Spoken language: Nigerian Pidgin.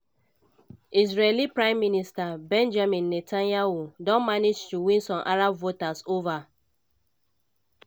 israeli prime minister benjamin netanyahu don manage to win some arab voters ova.